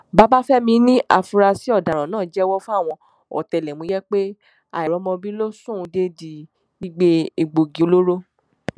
babafẹmi ní àfúrásì ọdaràn náà jẹwọ fáwọn ọtẹlẹmúyẹ pé àìrọmọbí ló sún òun dédìí gbígbé egbòogi olóró